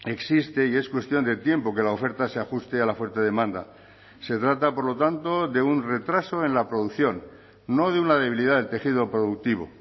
existe y es cuestión de tiempo que la oferta se ajuste a la fuerte demanda se trata por lo tanto de un retraso en la producción no de una debilidad del tejido productivo